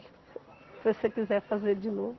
Se você quiser fazer de novo.